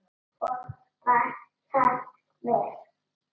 Og var það vel.